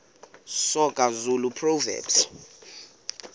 soga zulu proverbs